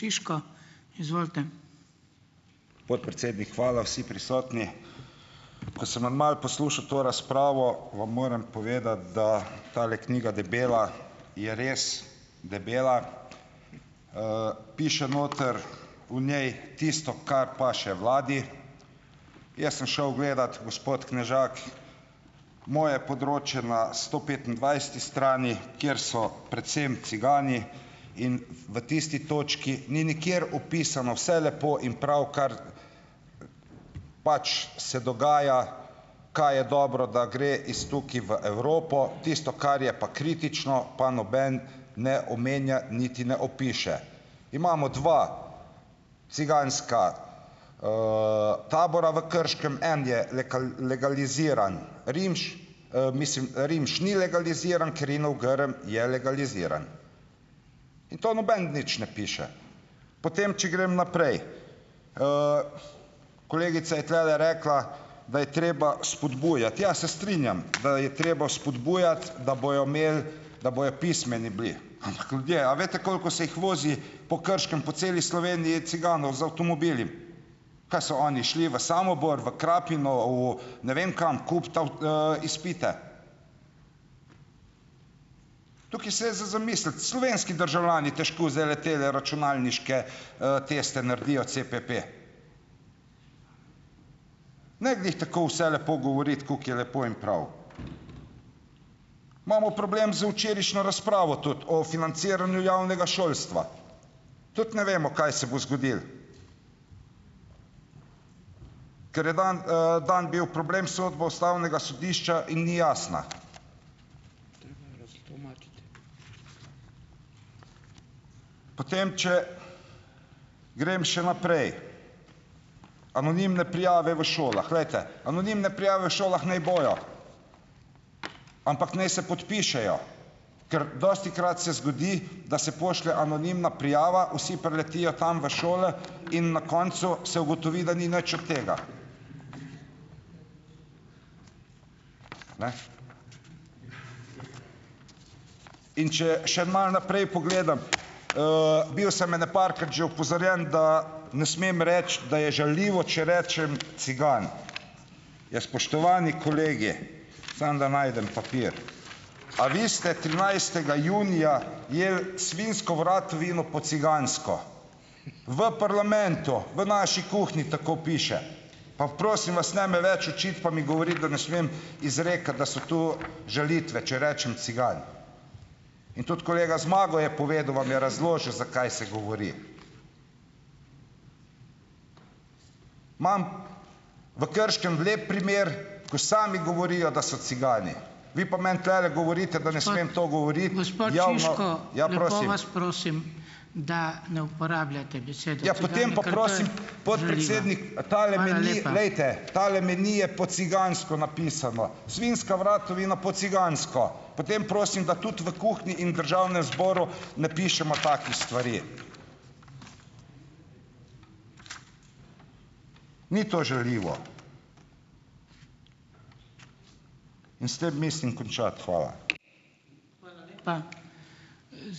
Podpredsednik, hvala. Vsi prisotni. Ko sem vam malo poslušal to razpravo, vam moram povedati, da tale knjiga debela, je res debela. piše noter , v njej tisto, kar paše vladi. Jaz sem šel gledat, gospod Knežak, moje področje na sto petindvajseti strani, kjer so predvsem cigani in v tisti točki ni nikjer opisano, vse lepo in prav, kar pač se dogaja, kaj je dobro, da gre iz tukaj v Evropo, tisto, kar je pa kritično, pa noben ne omenja, niti ne opiše. Imamo dva ciganska, tabora v Krškem. En je legaliziran, Rimš, mislim, Rimš ni legaliziran, Kerinov Grm je legaliziran. In to noben nič ne piše. Potem, če grem naprej. kolegica je tulele rekla, da je treba spodbujati. Ja, se strinjam, da je treba spodbujati, da bojo imeli, da bojo pismeni bili. Ampak ljudje, a veste, koliko se jih vozi po Krškem, po celi Sloveniji ciganov z avtomobili? Kaj so oni šli v Samobor, v Krapino, v, ne vem kam, kupiti izpite? Tukaj se je za zamisliti. Slovenski državljani težko zdajle tele računalniške, teste naredijo, CPP. Ne glih tako vse lepo govoriti, kako je lepo in prav. Imamo problem z včerajšnjo razpravo tudi, o financiranju javnega šolstva. Tudi ne vemo, kaj se bo zgodilo. Ker je dan, dan bil problem, sodbo ustavnega sodišča in ni jasna. Potem, če grem še naprej. Anonimne prijave v šolah. Glejte. Anonimne prijave v šolah naj bojo . Ampak naj se podpišejo. Ker dostikrat se zgodi, da se pošlje anonimna prijava, vsi priletijo tam v šole in na koncu se ugotovi, da ni nič od tega . Ne. In če še malo naprej pogledam . bil sem ene parkrat že opozorjen, da ne smem reči, da je žaljivo, če rečem "cigan". Ja, spoštovani kolegi, samo da najdem papir . A vi ste trinajstega junija jedli svinjsko vratovino po cigansko. V parlamentu. V naši kuhinji, tako piše. Pa prosim vas, ne me več učiti pa mi govoriti, da ne smem izrekati, da so to žalitve, če rečem cigan. In tudi kolega Zmago je povedal, vam je razložil, zakaj se govori. Imam v Krškem lep primer, ko sami govorijo, da so cigani. Vi pa meni tulele govorite, da . Glejte, tale meni je po cigansko napisan. Svinjska vratovina po cigansko. Potem prosim, da tudi v kuhinji in državnem zboru ne pišemo takih stvari . Ni to žaljivo. In s tem mislim končati. Hvala.